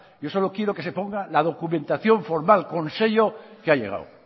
yo solo quiero que se ponga la documentación formal con sello que ha llegado